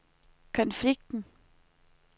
konflikten